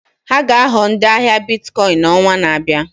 Ha ga-aghọ ndị ahịa Biticoin n'ọnwa na-abịa.